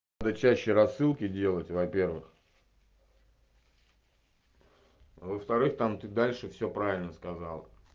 рычащий рассылки делать во-первых во-вторых там ты дальше всё правильно сказала